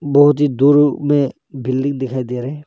बहुत ही दूर में बिल्डिंग दिखाई दे रहा है।